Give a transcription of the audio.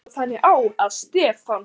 Þá stóð þannig á, að Stefán